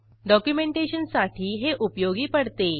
डॉक्युमेंटेशनसाठी हे उपयोगी पडते